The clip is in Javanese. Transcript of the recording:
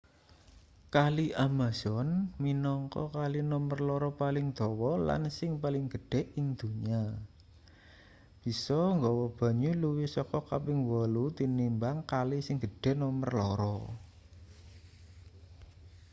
kali amazon minangka kali nomer loro paling dawa lan sing paling gedhe ing donya bisa nggawa banyu luwih saka kaping 8 tinimbang kali sing gedhe nomer loro